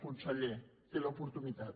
conseller en té l’oportunitat